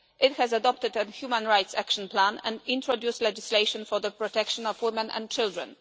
It has adopted a human rights action plan and introduced legislation for the protection of women and children.